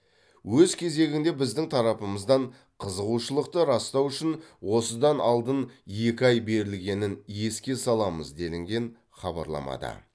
өз кезегінде біздің тарапымыздан қызығушылықты растау үшін осыдан алдын екі ай берілгенін еске саламыз делінген хабарламада